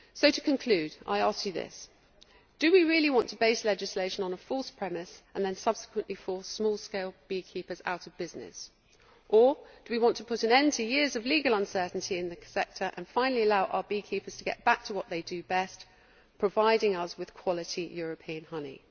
To conclude, I ask you this do we really want to base legislation on a false premise and then subsequently force small scale beekeepers out of business? Or do we want to put an end to years of legal uncertainty in the sector and finally allow our beekeepers to get back to what they do best providing us with quality European honey?